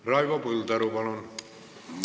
Raivo Põldaru, palun!